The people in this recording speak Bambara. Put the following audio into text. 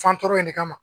Fantoro in de kama